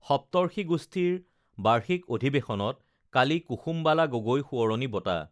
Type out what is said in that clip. সপ্তষি গোষ্ঠীৰ বাৰ্ষিক অধিৱেশনত কালি কুসুমবালা গগৈ সোঁৱৰণী বঁটা